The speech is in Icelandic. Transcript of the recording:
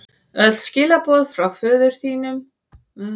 Öll skilaboð frá þínum föður eru bæði ill og ósanngjörn, sagði þá Daði.